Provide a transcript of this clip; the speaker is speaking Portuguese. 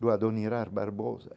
do adonirar Barbosa.